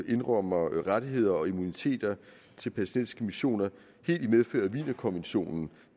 indrømmer rettigheder og immuniteter til palæstinensiske missioner helt i medfør af wienerkonventionen